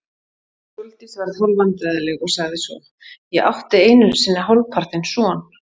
Sóldís varð hálfvandræðaleg og sagði svo: Ég átti einu sinni hálfpartinn son.